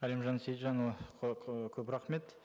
әлімжан сейітжанұлы көп рахмет